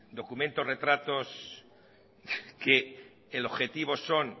documento retratos que el objetivo son